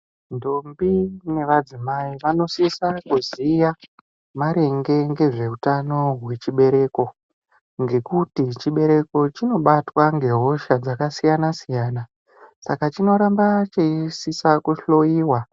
Ntombi nevadzimai vanosisa kuziya maringe ngezve utano hwechibereko ngekuti chibereko chinobatwa ngehosha dzakasiyana-siyana, saka chinoramba cheisisa kuhloiwa.